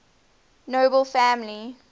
nobel family